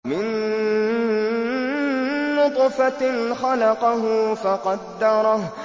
مِن نُّطْفَةٍ خَلَقَهُ فَقَدَّرَهُ